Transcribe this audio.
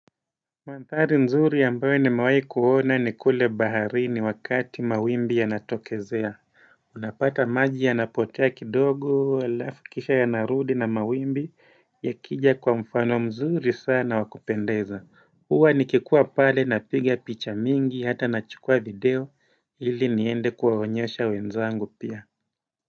Mandhari nzuri ambayo nimewai kuona ni kule baharini wakati mawimbi yanatokezea. Unapata maji ya napotea kidogo, alafu kisha yanarudi na mawimbi. Yakija kwa mfano mzuri sana wakupendeza. Huwa nikikua pale napiga picha mingi hata nachukua video ili niende kuwaonyesha wenzangu pia.